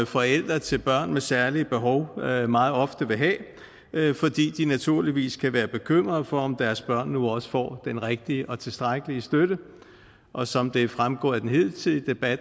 forældre til børn med særlige behov meget ofte vil have fordi de naturligvis kan være bekymrede for om deres børn nu også får den rigtige og tilstrækkelige støtte og som det er fremgået af den hidtidige debat